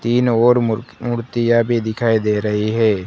तीन और मूर मूर्तिया भी दिखाई दे रही है।